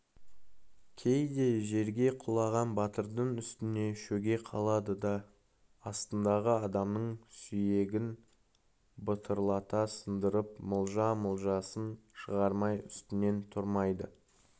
кейде жерге құлаған батырдың үстіне шөге қалады да астындағы адамның сүйегін бытырлата сындырып мылжа-мылжасын шығармай үстінен тұрмайды